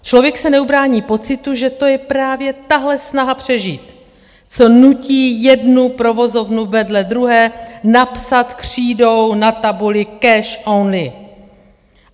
Člověk se neubrání pocitu, že to je právě tahle snaha přežít, co nutí jednu provozovnu vedle druhé napsat křídou na tabuli "cash only".